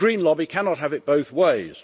The green lobby cannot have it both ways.